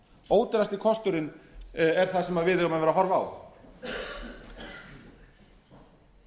ódýrasti kosturinn er það sem við höfum verið að horfa á